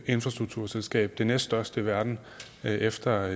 infrastrukturselskab det næststørste i verden efter